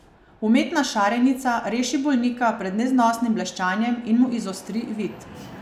Umetna šarenica reši bolnika pred neznosnim bleščanjem in mu izostri vid.